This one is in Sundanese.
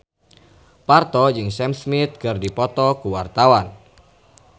Parto jeung Sam Smith keur dipoto ku wartawan